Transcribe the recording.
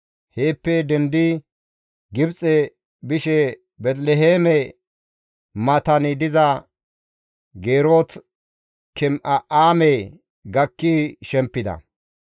Heeppe dendidi Gibxe bishe Beeteliheeme matan diza Geerot-Keme7aame gakki shemppida;